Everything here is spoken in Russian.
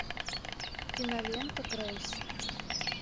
кинолента грейс